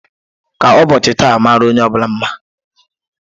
Ka ụbọochị taa mara onye bula mma.